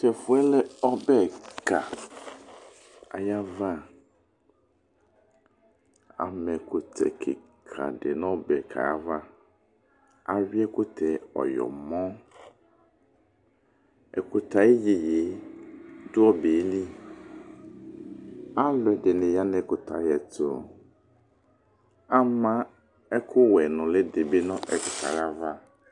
Tʋ ɛfʋɛ lɛ ɔbɛ kika, ayʋ ava ama ɛkʋtɛ kikadi nʋ ɔbɛ ava. Awi ɛkʋtɛ ɔyɔmɔ. Ɛkʋtɛ ayʋ iyeye dʋ ɔbeli, alʋɛdini yanʋ ɛkʋtɛ ayʋ ɛtʋ, ama ɛkʋwɛ nulidibi nʋ ɛkʋtɛ yɛ ava.